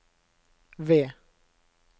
V